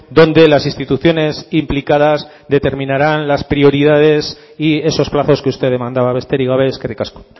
donde las instituciones implicadas determinarán las prioridades y esos plazos que usted demandaba besterik gabe eskerrik asko